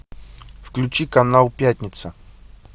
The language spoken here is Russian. включи канал пятница